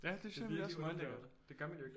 Ja det synes jeg jo nemlig også er meget lækkert